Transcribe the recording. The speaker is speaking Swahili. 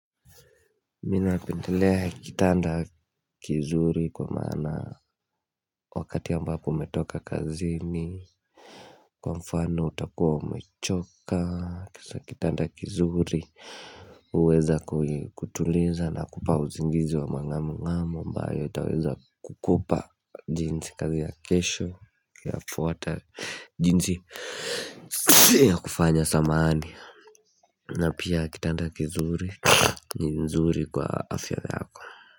Mi napendelea kitanda kizuri kwa maana wakati ambapo umetoka kazini Kwa mfano utakuwa umechoka kisa kitanda kizuri uweza kutuliza na kupa uzingizi wa mang'amu ng'amu ambayo itaweza kukupa jinsi kazi ya kesho ya fuwata jinsi ya kufanya samaani na pia kitanda kizuri ni nzuri kwa afya yako.